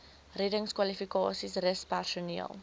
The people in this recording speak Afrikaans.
reddingskwalifikasies rus personeel